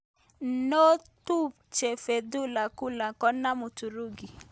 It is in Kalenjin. Notumche Fetullah Gulen kenam Uturuki.